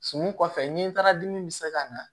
Sukunɛ fɛ ni taara dimi bɛ se ka na